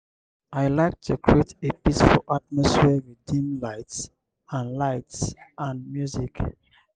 i like to create a peaceful atmosphere with dim lights and lights and music.